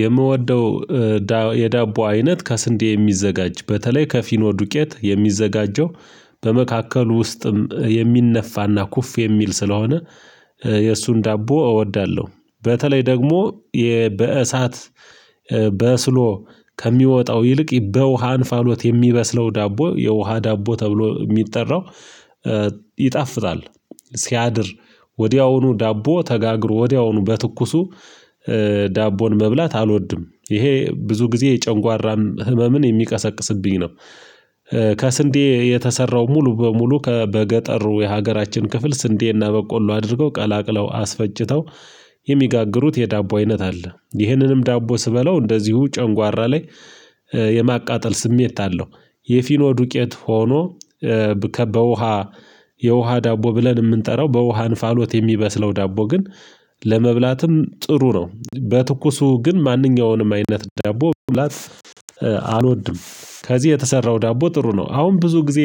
የምወደው የዳቦ አይነት ከስንዴ የሚዘጋጅ በተለይ ከፊኖ ዱቄት የሚዘጋጀው በመካከሉ ውስጥም የሚነፋና ኩፍ የሚል ስለሆነ የእሱን ዳቦ እወዳለሁ። በተለይ ደግሞ የበእሳት በስሎ ከሚወጣው ይልቅ በውሃ አንፋሎት የሚበስለው ዳቦ የውሃ ዳቦ ተብሎ የሚጠራው ይጣፍጣል ሲያድር ወዲያውኑ ዳቦ ተጋግሮ ወዲያውኑ በትኩሱ ዳቦን መብላት አልወድም ይሄ ብዙ ጊዜ የጨንጓራን ህመምን የሚቀሰቅስብኝ ነው። ከስንዴ የተሰራው ሙሉ በሙሉ ከበገጠሩ የሀገራችን ክፍል ስንዴና በቆሎ አድርገው ቀላቅለው አስፈጭተው የሚጋግሩት የዳቦ አይነት አለ ይህንንም ዳቦ ስበለው እንደዚሁ ጨንጓራ ላይ የማቃጠል ስሜት አለው። የፊኖ ዱቄት ሆኖ በውሃ የውሃ ዳቦ ብለን የምንጠራው በውሃ እንፋሎት የሚበስለው ዳቦ ግን ለመብላትም ጥሩ ነው በትኩሱ ግን ማንኛውንም አይነት ዳቦ መብላት አልወድም። ከዚህ የተሰራው ዳቦ ጥሩ ነው። አሁን ብዙ ጊዜ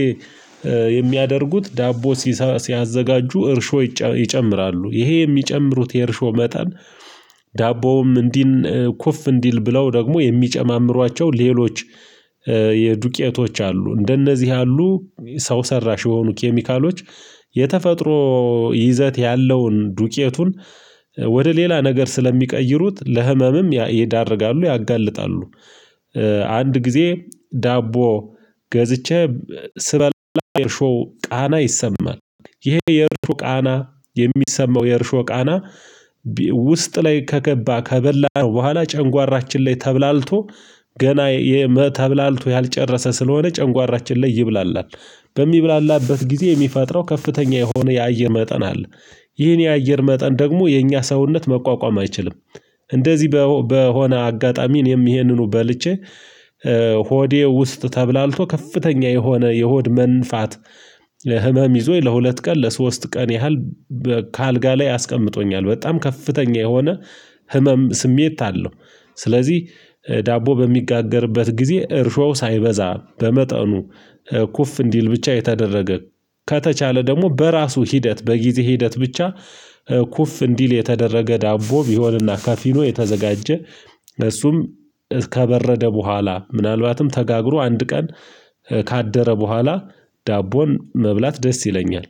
የሚያደርጉት ዳቦ ሲያዘጋጁ እርሾ ይጨምራሉ ይሄ የሚጨምሩት የእርሾ መጠን ዳቦውም እንዲል ኩፍ እንዲል ብለው ደግሞ የሚጨማምሯቸው ሌሎች የዱቄቶች አሉ እንደነዚህ ያሉ ሰው ሰራሽ የሆኑ ኬሚካሎች የተፈጥሮ ይዘት ያለውን ዱቄቱን ወደ ሌላ ነገር ስለሚቀይሩት ለህመምም ይዳርጋሉ ያጋልጣሉ። አንድ ጊዜ ዳቦ ገዝቼ ስበላ የእርሾ ቃና ይሰማል ይሄ የእርሾ ቃና የሚሰማው የእርሾ ቃና ውስጥ ላይ ከገባ ከበላን በኋላ ጨንጓራችን ላይ ተብላልቶ ገና ተብላልቶ ያልጨረሰ ስለሆነ ጨንጓራችን ላይ ይብላላል በሚብላላበት ጊዜ የሚፈጥረው ከፍተኛ የሆነ የአየር መጠን አለ። ይህን የአየር መጠን ደግሞ የእኛ ሰውነት መቋቋም አይችልም። እንደዚህ በሆነ አጋጣሚ እኔም ይሄንኑ በልቼ ሆዴ ውስጥ ተብላልቶ ከፍተኛ የሆነ የሆድ መንፋት ህመም ይዞኝ ለሁለት ቀን ለሶስት ቀን ያህል ከአልጋ ላይ አስቀምጦኛል በጣም ከፍተኛ የሆነ ህመም ስሜት አለው። ስለዚህ ዳቦ በሚጋገርበት ጊዜ እርሾው ሳይበዛ በመጠኑ ኩፍ እንዲል ብቻ የተደረገ ከተቻለ ደግሞ በራሱ ሂደት በጊዜ ሂደት ብቻ ኩፍ እንዲል የተደረገ ዳቦ ቢሆንና ካፊኖ የተዘጋጀ እሱም ከበረደ በኋላ ምናልባትም ተጋግሮ አንድ ቀን ካደረ በኋላ ዳቦን መብላት ደስ ይለኛል